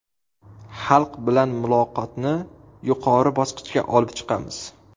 Xalq bilan muloqotni yuqori bosqichga olib chiqamiz.